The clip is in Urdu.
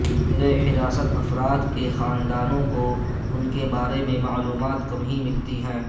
زیر حراست افراد کے خاندانوں کو ان کے بارے میں معلومات کم ہی ملتی ہیں